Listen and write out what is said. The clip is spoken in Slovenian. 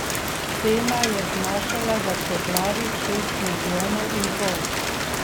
Cena je znašala vrtoglavih šest milijonov in pol.